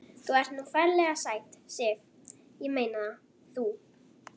Þú ert nú ferlega sæt, Sif. ég meina það. þú.